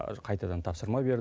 қайтадан тапсырма берді